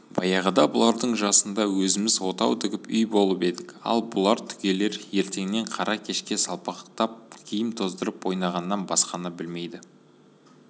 баяғыда бұлардың жасында өзіміз отау тігіп үй болып едік ал бұл түгелер ертеңнен қара кешке салпақтап киім тоздырып ойнағаннан басқаны білмейді